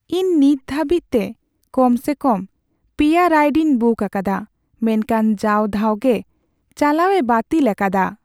ᱤᱧ ᱱᱤᱛ ᱫᱷᱟᱹᱵᱤᱡ ᱛᱮ ᱠᱚᱢ ᱥᱮ ᱠᱚᱢ ᱓ ᱨᱟᱭᱤᱰᱤᱧ ᱵᱩᱠ ᱟᱠᱟᱫᱟ, ᱢᱮᱱᱠᱷᱟᱱ ᱡᱟᱣ ᱫᱷᱟᱣ ᱜᱮ ᱪᱟᱞᱣᱟᱹᱭ ᱵᱟᱹᱛᱤᱞ ᱟᱠᱟᱫᱟ ᱾